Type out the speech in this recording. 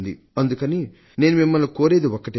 అందుకని నేను మిమ్మల్ని కోరేది ఒక్కటే